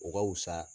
O ka wusa